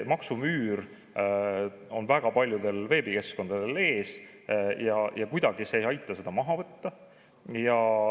Maksumüür on väga paljudel veebikeskkondadel ees ja ei aita seda kuidagi maha võtta.